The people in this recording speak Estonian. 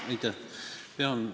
Aitäh!